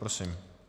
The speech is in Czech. Prosím.